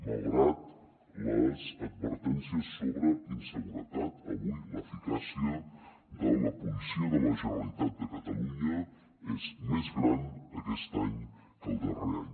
malgrat les advertències sobre inseguretat avui l’eficàcia de la policia de la generalitat de catalunya és més gran aquest any que el darrer any